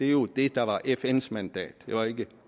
jo det der var fns mandat det var ikke